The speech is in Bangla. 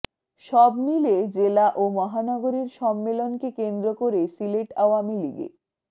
সবমিলে জেলা ও মহানগরের সম্মেলনকে কেন্দ্র করে সিলেট আওয়ামী লীগে